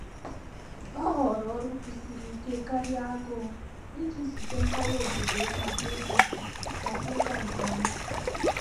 Ọ́ họọrọ ọrụ́ kwụ̀sìrì íké kàrị́à ágụ́ụ̀ ìjí zùté nkọwá obòdò yá màkà ị́gà màkà ị́gà nké ọmà.